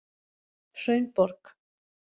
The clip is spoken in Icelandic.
Hraunborg